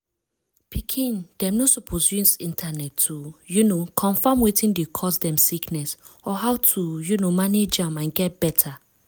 pikin dem no suppose use internet to um confam wetin dey cause dem sickness or how to um manage am and get beta.